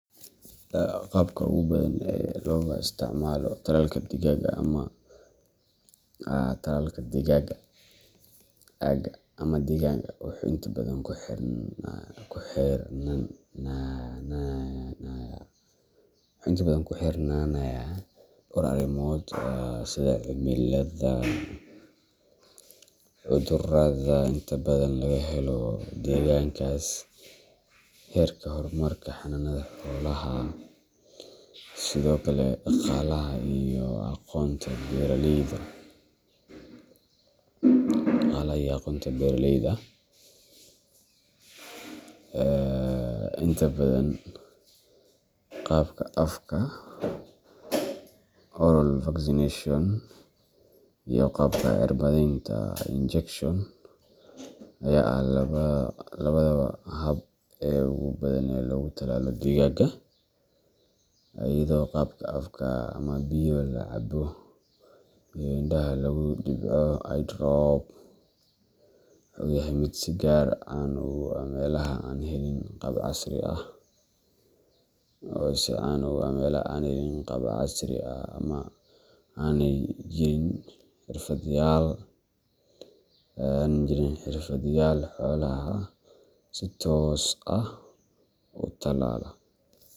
Qaabka ugu badan ee looga isticmaalo tallalka digaaga ama talaalka digaagga aagga ama deegaankaaga wuxuu inta badan ku xirnaanayaa dhowr arrimood sida cimilada, cudurrada inta badan laga helo deegaankaas, heerka horumarka xanaanada xoolaha, iyo sidoo kale dhaqaalaha iyo aqoonta beeraleyda digaagga. Inta badan, qaabka afka oral vaccination iyo qaabka cirbadeynta injection ayaa ah labada hab ee ugu badan ee lagu tallaalo digaagga, iyadoo qaabka afka ama biyo la cabbo iyo indhaha lagu dhibco eye drop uu yahay mid si gaar ah caan ugu ah meelaha aan helin qalab casri ah ama aanay jirin xirfadlayaal xoolaha si toos ah u tallaala.